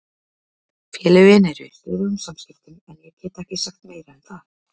Félögin eru í stöðugum samskiptum en ég get ekki sagt meira en það.